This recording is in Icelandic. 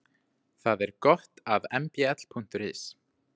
Þá er gott aðmbl.is